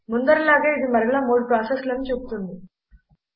ముందరి లాగే ఇది మరలా మూడు ప్రాసెస్లను చూపుతుంది